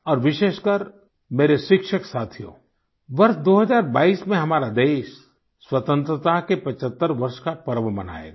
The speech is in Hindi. और विशेषकर मेरे शिक्षक साथियो वर्ष 2022 में हमारा देश स्वतंत्रता के 75 वर्ष का पर्व मनायेगा